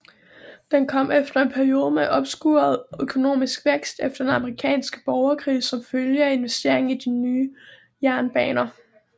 Den kom efter en periode med opskruet økonomisk vækst efter den amerikanske borgerkrig som følge af investeringer i nye jernbaner